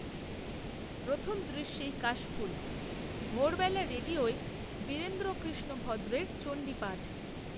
প্রথম দৃশ্যেই কাশফুল, ভোরবেলা রেডিওয়, বীরেন্দ্রকৃষ্ণ ভদ্রের চণ্ডীপাঠ